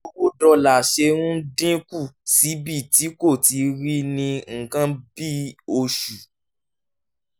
bí owó dọ́là ṣe ń dín kù síbi tí kò tíì rí ní nǹkan bí oṣù